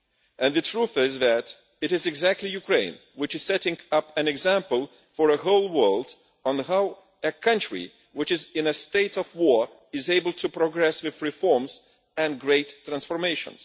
And the truth is that it is precisely Ukraine which is setting an example for the whole world on how a country which is in a state of war is able to progress with reforms and great transformation.